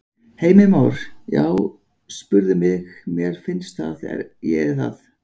Heimir Már: Já spurðu mig, mér finnst það, ég er það?